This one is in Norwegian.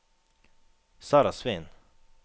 Sarah Sveen